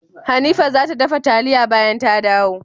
Hanifa zata dafa taliyan bayan ta dawo.